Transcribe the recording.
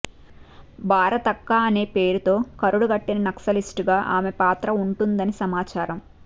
భారతక్క అనే పేరుతో కరుడుగట్టిన నక్సలిస్ట్ గా ఆమె పాత్ర ఉంటుందని సమాచారం